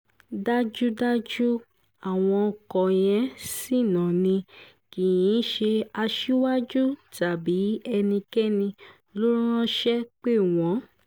dájúdájú àwọn ọkọ yẹn ṣìnà ni kì í ṣe aṣíwájú tàbí ẹnikẹ́ni ló ránṣẹ́ pè wọ́n